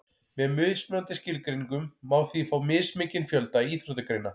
með mismunandi skilgreiningum má því fá mismikinn fjölda íþróttagreina